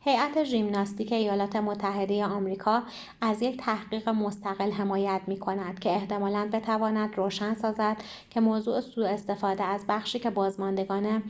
هیأت ژیمناستیک ایالت متحده آمریکا از یک تحقیق مستقل حمایت می‌کند که احتمالاً بتواند روشن سازد که موضوع سوء استفاده از بخشی که بازماندگان